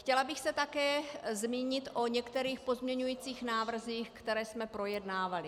Chtěla bych se také zmínit o některých pozměňovacích návrzích, které jsme projednávali.